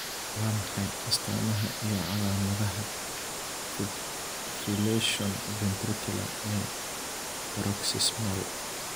Waa maxay astamaha iyo calaamadaha fibrillation ventricular ee Paroxysmal?